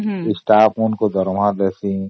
state ମାନଙ୍କ ଦରମା ଦେବି